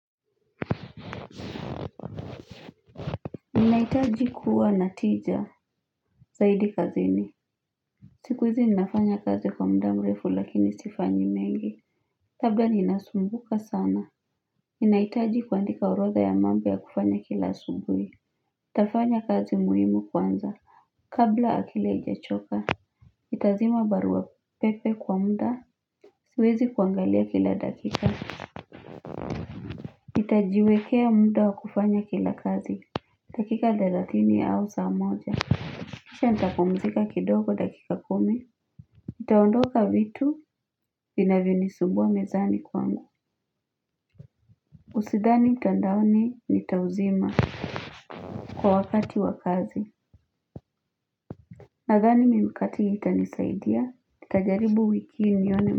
Ninahitaji kuwa na tija Zaidi kazini siku hizi ninafanya kazi kwa muda mrefu lakini sifanyi mengi labda ninasumbuka sana Ninahitaji kuandika orodha ya mambo ya kufanya kila asubuhi nitafanya kazi muhimu kwanza Kabla akili haijachoka nitazima baruapepe kwa muda Siwezi kuangalia kila dakika nitajiwekea muda wa kufanya kila kazi dakika thelathini au saa moja kisha nitapumzika kidogo dakika kumi nitaondoka vitu vinavyonisumbua mezani kwangu usidhani mtandaoni nitauzima kwa wakati wakazi nadhani mimikati hii itanisaidia nitajaribu wiki hii nione.